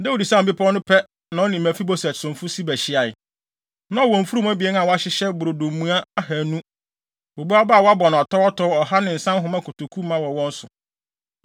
Dawid sian bepɔw no pɛ na ɔne Mefiboset somfo Siba hyiae. Na ɔwɔ mfurum abien a wɔahyehyɛ brodo mua ahannu, bobe aba a wɔabɔ no atɔwatɔw ɔha ne nsa nhoma kotoku ma wɔ wɔn so.